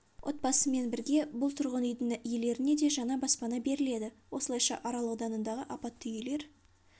отбасымен бірге бұл тұрғын үйдің иелеріне де жаңа баспана беріледі осылайша арал ауданындағы апатты үйлер